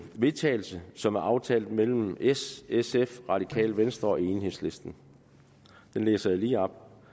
vedtagelse som er aftalt mellem s sf radikale venstre og enhedslisten det læser jeg lige op